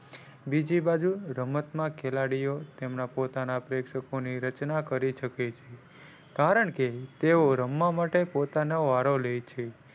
બીજી બાજુ રમત માં ખેલાડીઓ તેમના પોતાના પ્રેક્ષકો ની રચના કરી શકે છે. કારણકે તેઓ રમવા માટે પોતાનો વારો લે છે.